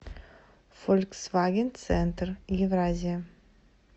фольксваген центр евразия